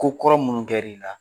Ko kɔrɔ munni kɛr'i la